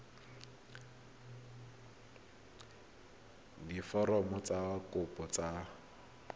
diforomo tsa kopo tse dint